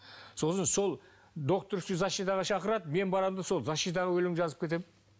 сосын сол докторская защитаға шақырады мен барамын да сол защитада өлең жазып кетемін